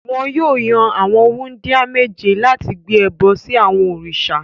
Wọn yóò yan àwọn wúńdíá méje láti gbé ẹbọ sí àwọn òrìṣà.